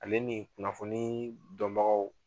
Ale ni kunnafoni dɔnbagaw.